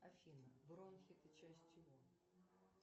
афина бронхи это часть чего